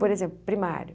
Por exemplo, primário.